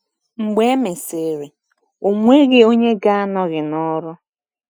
Mgbe e mesịrị, ọ nweghị onye ga-anọghị n’ọrụ.